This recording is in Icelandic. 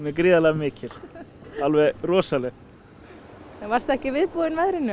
gríðarlega mikil alveg rosaleg varstu ekki viðbúinn veðrinu